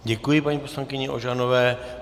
Děkuji paní poslankyni Ožanové.